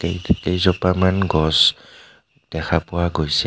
কেই - ক - কেইজোপামান গছ দেখা পোৱা গৈছে.